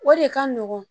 O de ka nɔgɔn